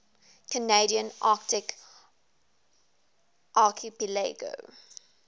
canadian arctic archipelago